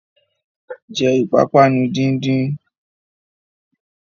Jẹ́ ìpápánu díndín!